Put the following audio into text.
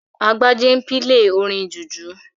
Agbájé n pílè orin jùjú